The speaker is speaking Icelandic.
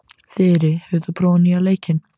Þyri, hefur þú prófað nýja leikinn?